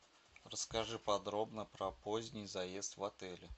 расскажи подробно про поздний заезд в отеле